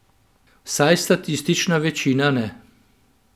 Vsaj statistična večina ne.